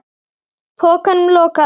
Pokanum lokað.